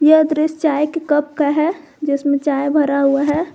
यह दृश्य चाय के कप का है जिसमें चाय भरा हुआ है।